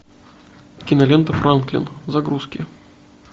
кинолента франклин загрузки